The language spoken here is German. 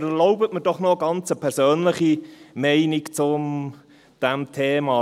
Aber erlauben Sie mir doch noch eine ganz persönliche Meinung zu diesem Thema: